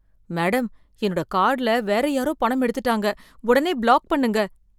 Madam, என்னோட கார்டுல வேற யாரோ பணம் எடுத்துட்டாங்க. உடனே பிளாக் பண்ணுங்க.